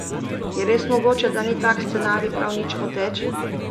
Je res mogoče, da ni tak scenarij prav nič moteč?